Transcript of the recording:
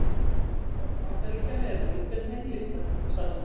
Í hvaða borg Bandaríkjanna er Guggenheim-listasafnið?